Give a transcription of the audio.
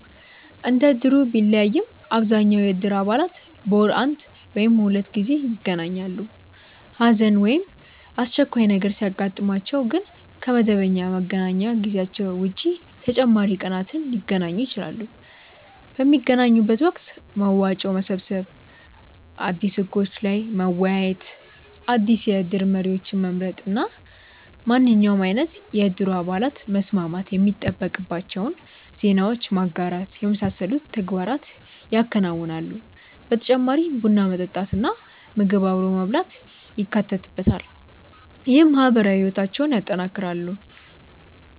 እንደ እድሩ ቢለያይም አብዛኛው የእድር አባላት በወር አንድ ወይም ሁለት ጊዜ ይገናኛሉ። ሀዘን ወይም አስቸኳይ ነገር ሲያጥማቸው ግን ከ መደበኛ መገናኛ ጊዜያቸው ውጪ ተጨማሪ ቀናትን ሊገናኙ ይችላሉ። ። በሚገናኙበት ወቅት መዋጮ መሰብሰብ፣ አዲስ ህጎች ላይ መወያየት፣ አዲስ የእድር መሪዎችን መምረጥ እና ማንኛውም አይነት የእድሩ አባላት መስማት የሚጠበቅባቸውን ዜናዎች ማጋራት የመሳሰሉትን ተግባራት ያከናውናሉ። በተጨማሪም ቡና መጠጣት እና ምግብ አብሮ መብላት ይካተትበታል። ይህም ማህበራዊ ህይወታቸውን ያጠናክረዋል።